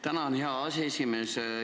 Tänan, hea aseesimees!